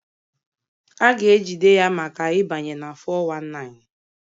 A ga-ejide ya maka ịbanye na 419